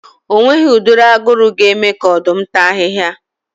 O nweghi ụdị aguru ga-eme ka Ọ̀dụ́m tàa ahị́hia